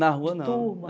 Na rua, não.